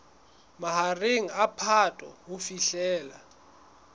mahareng a phato ho fihlela